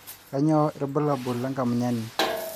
kanyio irbulabul le enkamunyani